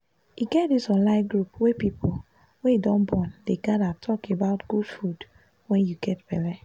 e get this online group wey people wey don born dey gather talk about good food wen u get belle